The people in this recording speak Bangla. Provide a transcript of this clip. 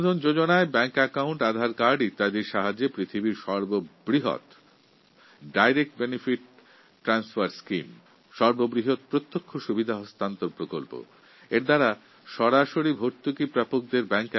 জন ধন অ্যাকাউন্ট আধার কার্ড ইত্যাদির সাহায্যে বিশ্বের সব থেকে বৃহৎ লার্জেস্ট ডাইরেক্ট বেনিফিট ট্রান্সফার Schemeএর মাধ্যমে উপকৃত ব্যক্তির ব্যাঙ্ক অ্যাকাউন্টে সরাসরি ভর্তুকি পৌঁছানো